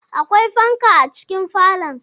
Akwai fanka a cikin falon.